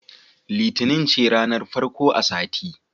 Litinin ce ranar farko a sati.